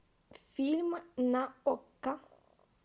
фильм на окко